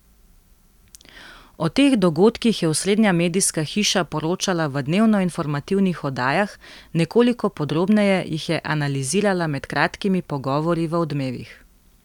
O teh dogodkih je osrednja medijska hiša poročala v dnevnoinformativnih oddajah, nekoliko podrobneje jih je analizirala med kratkimi pogovori v Odmevih.